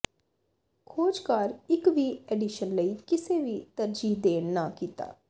ਖੋਜਕਾਰ ਇਕ ਵੀ ਐਡੀਸ਼ਨ ਲਈ ਕਿਸੇ ਵੀ ਤਰਜੀਹ ਦੇਣ ਨਾ ਕੀਤਾ